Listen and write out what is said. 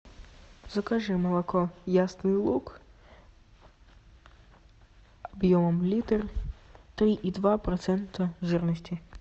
закажи молоко ясный луг объемом литр три и два процента жирности